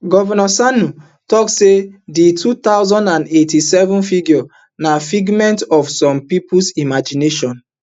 govnor sani tok say di two hundred and eighty-seven figure na figments of some pipo imagination